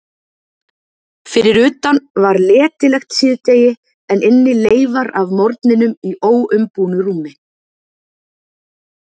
Fyrir utan var letilegt síðdegi en inni leifar af morgninum í óumbúnu rúmi.